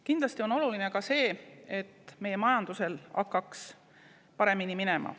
Kindlasti on oluline ka see, et meie majandusel hakkaks paremini minema.